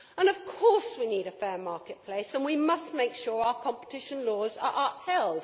Of course, we need a fair marketplace, and we must make sure our competition laws are upheld.